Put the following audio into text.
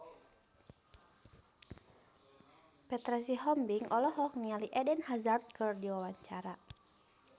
Petra Sihombing olohok ningali Eden Hazard keur diwawancara